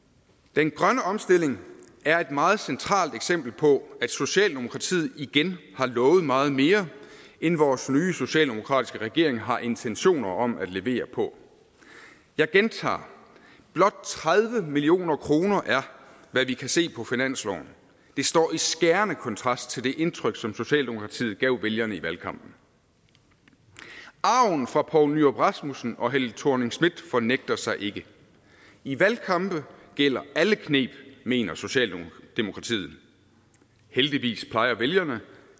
den grønne omstilling er et meget centralt eksempel på at socialdemokratiet igen har lovet meget mere end vores nye socialdemokratiske regering har intentioner om at levere på jeg gentager blot tredive million kroner er hvad vi kan se på finansloven det står i skærende kontrast til det indtryk som socialdemokratiet gav vælgerne i valgkampen arven fra poul nyrup rasmussen og helle thorning schmidt fornægter sig ikke i valgkampe gælder alle kneb mener socialdemokratiet heldigvis plejer vælgerne